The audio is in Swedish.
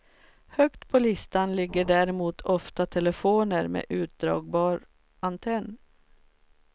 Högt på listan ligger däremot ofta telefoner med utdragbar antenn.